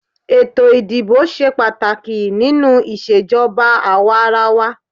Ètò ìdìbò ṣe pàtàkì nínú ìṣèjọba àwàrawa.